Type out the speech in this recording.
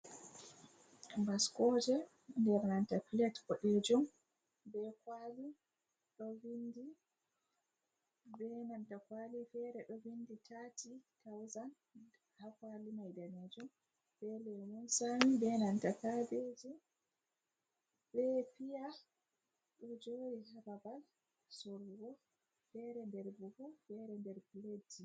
Baskoje nder nanta plet boɗeejum, be kwaali ɗo vindi... be nanta kwaali fere ɗo vindi taati-tawzan, ha kwali mai ɓaleejum, be lemun sami be nanta kaabeji, be piya ɗo jeri ha babal sorrugo. Fere nder buhu, fere nder pletji.